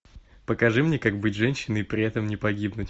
покажи мне как быть женщиной и при этом не погибнуть